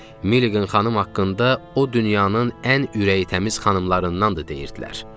Milligan xanım haqqında o dünyanın ən ürəyitəmiz xanımlarındandır deyirdilər.